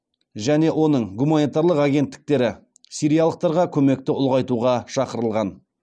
және оның гуманитарлық агенттіктері сириялықтарға көмекті ұлғайтуға шақырылған